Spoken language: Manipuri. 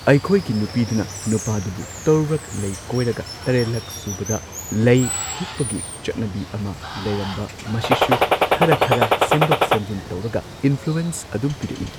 ꯑꯩꯈꯣꯏꯒꯤ ꯅꯨꯄꯤꯗꯨꯅ ꯅꯨꯄꯥꯗꯨꯕꯨ ꯇꯔꯨꯛꯔꯛ ꯂꯩ ꯀꯣꯏꯔꯒ ꯇꯔꯦꯠꯂꯛ ꯁꯨꯕꯗ ꯂꯩ ꯍꯨꯛꯄꯒꯤ ꯆꯠꯅꯕꯤ ꯑꯃ ꯂꯩꯔꯝꯕ ꯃꯁꯤꯁꯨ ꯈꯔ ꯈꯔ ꯁꯦꯝꯗꯣꯛ ꯁꯦꯝꯖꯤꯟ ꯇꯧꯔꯒ ꯏꯟꯐ꯭ꯂꯨꯋꯦꯟꯁ ꯑꯗꯨꯝ ꯄꯤꯔꯛꯏ